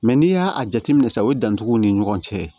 Mɛ n'i y'a jateminɛ sisan o ye dantigɛw ni ɲɔgɔn cɛ ye